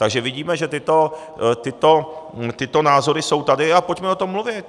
Takže vidíme, že tyto názory jsou tady, a pojďme o tom mluvit.